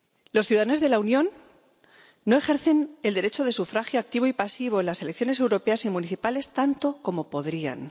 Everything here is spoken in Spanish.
Los ciudadanos de la Unión no ejercen el derecho de sufragio activo y pasivo en las elecciones europeas y municipales tanto como podrían.